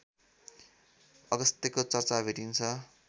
अगस्त्यको चर्चा भेटिन्छ